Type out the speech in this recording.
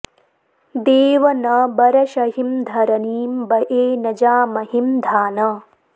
देव न बरषहिं धरनीं बए न जामहिं धान